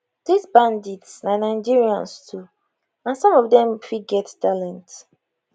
dis bandits na nigerians too and some of dem fit get talent